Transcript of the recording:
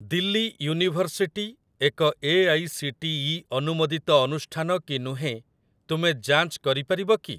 Delhi university ଏକ AICTE ଅନୁମୋଦିତ ଅନୁଷ୍ଠାନ କି ନୁହେଁ ତୁମେ ଯାଞ୍ଚ କରିପାରିବ କି?